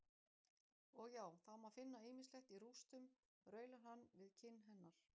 Og já, það má finna ýmislegt í rústum, raular hann við kinn hennar.